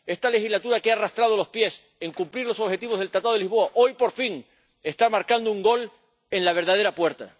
Esta legislatura, que ha arrastrado los pies en cumplir los objetivos del Tratado de Lisboa, hoy, por fin, está marcando un gol en la verdadera puerta.